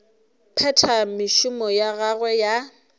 phetha mešomo ya gagwe ya